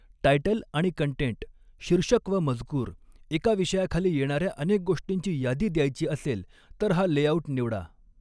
Title आणि content शीर्षक व मजकूर एका विषयाखाली येणा॒ऱ्या अनेक गोष्टींची यादी द्यायची असेल तर हा लेआऊट निवडा.